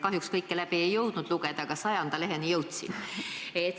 Kahjuks kõike läbi ei jõudnud lugeda, aga 100. leheküljele jõudsin.